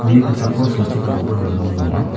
uni kosako silchi kagipa dolong donga.